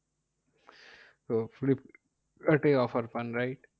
এটাই offer পান right?